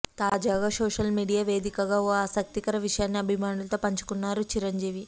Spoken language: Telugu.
తాజాగా సోషల్ మీడియా వేదికగా ఓ ఆసక్తికరమైన విషయాన్ని అభిమానులతో పంచుకున్నారు చిరంజీవి